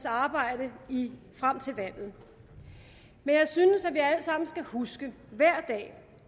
arbejde frem til valget men jeg synes at vi alle sammen skal huske hver dag